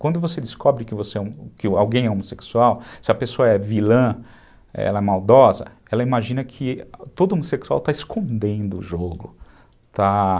Quando você descobre que você, que alguém é homossexual, se a pessoa é vilã, ela é maldosa, ela imagina que todo homossexual está escondendo o jogo, está...